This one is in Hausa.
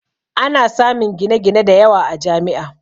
Ana samun gine-gine da yawa a Jami'a